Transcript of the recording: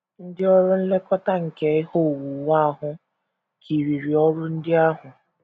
Ndị ọrụ nlekọta nke ihe owuwu ahụ kiriri ọrụ ndị ahụ.